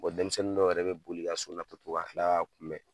Bɔn denmisɛnnin dɔw yɛrɛ bɛ boli ka so na tɔ ka tila ka a kunbɛ.